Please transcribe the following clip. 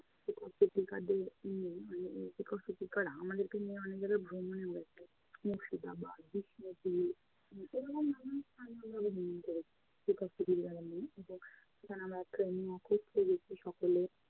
তো শিক্ষক শিক্ষিকাদের নিয়ে মানে শিক্ষক শিক্ষিকারা আমাদেরকে নিয়ে অনেক জায়গায় ভ্রমণেও যেতো। মুর্শিদাবাদ এরকম অনেক স্থান আমরা ভ্রমণ করেছি শিক্ষক শিক্ষিকাদের নিয়ে সকলে